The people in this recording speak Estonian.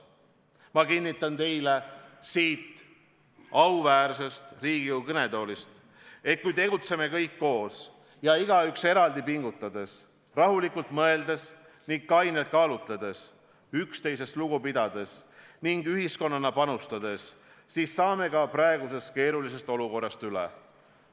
Ma kinnitan teile siit auväärsest Riigikogu kõnetoolist, et kui tegutseme kõik koos ja igaüks eraldi pingutades, rahulikult mõeldes ning kainelt kaalutledes, üksteisest lugu pidades ning ühiskonnana panustades, siis saame praegusest keerulisest olukorrast üle.